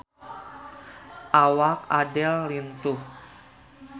Awak Adele lintuh